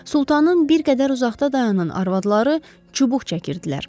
Sultanın bir qədər uzaqda dayanan arvadları çubuq çəkirdilər.